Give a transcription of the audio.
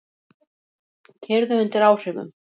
Keyrðu undir áhrifum